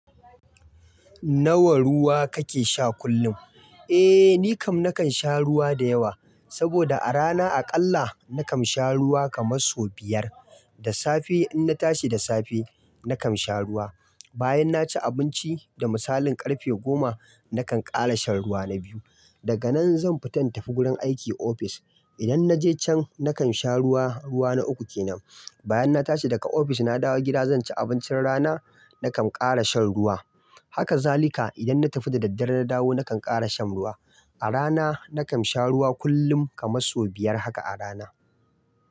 Nawa ruwa kake sha kullum? Eh, ni kam nakan sha ruwa da yawa. Saboda a rana aƙalla nakan sha ruwa kaman so biyar. Da safe in na tashi da safe nakan sha ruwa. Bayan na ci abinci da misalin ƙarfe goma, nakan ƙara shan ruwa na biyu. Daga nan zan fita in tafi wurin aiki ofis. Idan na je can nakan sha ruwa, ruwa na uku kenan. Bayan na tashi daga ofis na dawo gida zan ci abincin rana, nakan ƙara shan ruwa. Haka zalika idan na tafi da daddare na dawo nakan ƙara shan ruwa. A rana nakan sha ruwa kullum kaman so biyar haka a rana.